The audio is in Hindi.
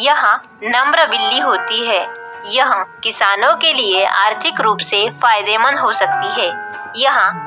यहाँ नम्र बिल्ली होती है यह किसानो के लिए आर्थिक रूप से फायदेमंद हो सकती है यहाँ--